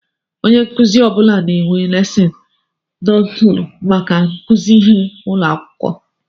Ónyé nkụzi ọbula na-enwe lesin nóótu màkà ikuzi ihe n'ụlọakwụkwọ.